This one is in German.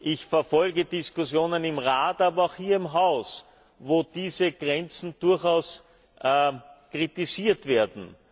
Ich verfolge Diskussionen im Rat, aber auch hier im Haus, wo diese Grenzen durchaus kritisiert werden.